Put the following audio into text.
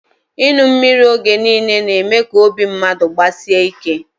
Inu mmiri oge nille na eme ka obi mmadu gbasie ike